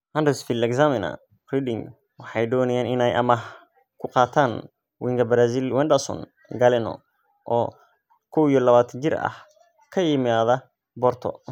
(Huddersfield Examiner) Reading waxay doonayaan inay amaah ku qaataan winga Brazil Wenderson Galeno, oo 21 jir ah, ka yimaada Porto.